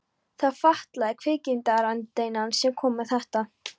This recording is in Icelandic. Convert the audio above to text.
Það var fatlaði kvikmyndagagnrýnandinn sem kom með þetta.